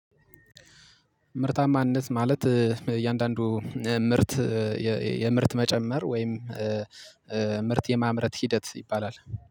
ምርታማነት ማለት እያንዳንዱ ምርት የምርት መጨመር ወይም ምርት የማምረት ሂደት ይባላል